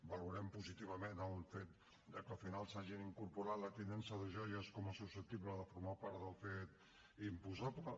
valorem positivament el fet de que al final s’hagi incorporat la tinença de joies com a susceptible de formar part del fet imposable